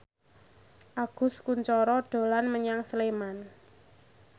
Agus Kuncoro dolan menyang Sleman